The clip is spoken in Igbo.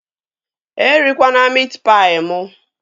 E rikwana miit paị mụ!